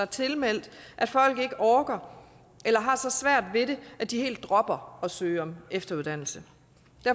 tilmelde sig at folk ikke orker det eller har så svært ved det at de helt dropper at søge om efteruddannelse